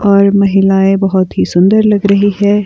और महिलाएं बहोत ही सुंदर लग रही है।